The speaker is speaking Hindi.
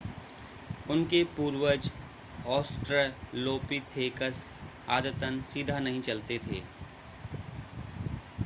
उनके पूर्वज ऑस्ट्रलोपिथेकस आदतन सीधा नहीं चलते थे